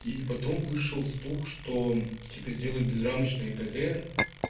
и потом вышел стух что теперь сделают без рамочный птр